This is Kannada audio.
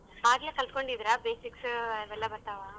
ಆಗ್ಲೆ ಕಲ್ತ್ಕೊಂಡಿದಿರಾ basics ಅವೆಲ್ಲಾ ಬರ್ತಾವಾ?